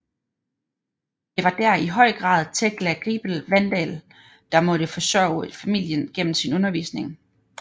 Det var der i høj grad Tekla Griebel Wandall der måtte forsørge familien gennem sin undervisning